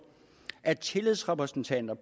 at tillidsrepræsentanter